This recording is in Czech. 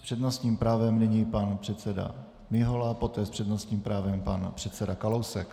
S přednostním právem nyní pan předseda Mihola, poté s přednostním právem pan předseda Kalousek.